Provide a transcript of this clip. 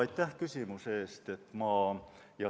Aitäh küsimuse eest!